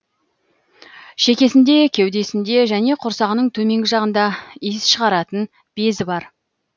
шекесінде кеудесінде және құрсағының төменгі жағында иіс шығаратын безі бар